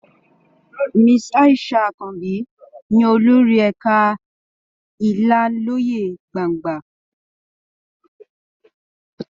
Mrs. Aisha Àkànbí ni olórí ẹ̀ka ìlanilọ́yẹ gbangba.